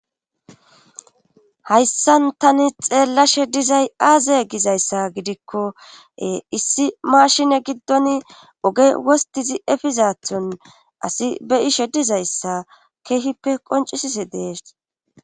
Hayssan tani xeellashe dizay aaze gizayssa gidikkoe issi maashine giddon oge wostizi efizathon asi be ishe dizayssa keehippe qoncisisi dees.